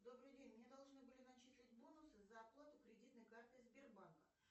добрый день мне должны были начислить бонусы за оплату кредитной карты сбербанка